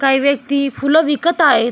काही व्यक्ती फुलं विकत आहेत.